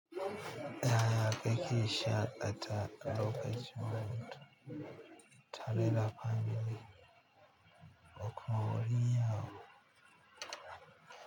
Yaya shaƙatawa a lokacin a hutu tare da family, da kuma walima.